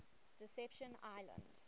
deception island